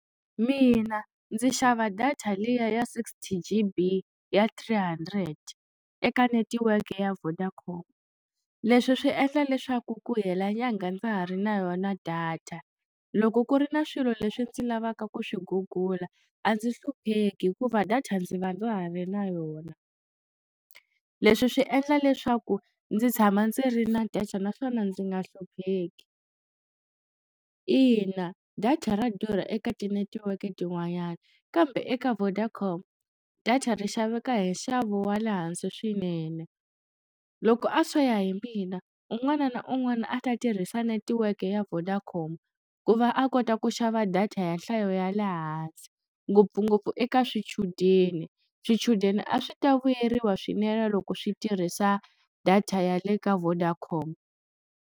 Mina ndzi xava data liya ya sixty G_B ya three hundred eka netiweke ya Vodacom leswi swi endla leswaku ku hela nyangha ndza ha ri na yona data loko ku ri na swilo leswi ndzi lavaka ku swi gugula a ndzi hlupheki hikuva data ndzi va ndza ha ri na yona leswi swi endla leswaku ndzi tshama ndzi ri na data naswona ndzi nga hlupheki, ina data ra durha eka tinetiweke tin'wanyana kambe eka Vodacom data ri xaveka hi nxavo wa le hansi swinene loko a swo ya hi mina un'wana na un'wana a ta tirhisa netiweke ya Vodacom ku va a kota ku xava data ya nhlayo ya le hansi ngopfungopfu eka swichudeni swichudeni a swi ta vuyeriwa swinene loko swi tirhisa data ya le ka Vodacom.